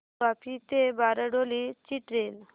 वापी ते बारडोली ची ट्रेन